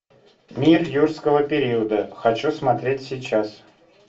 мир юрского периода хочу смотреть сейчас